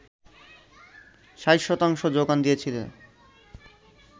৬০ শতাংশ যোগান দিয়েছিল